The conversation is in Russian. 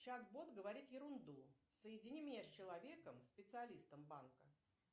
чат бот говорит ерунду соедини меня с человеком специалистом банка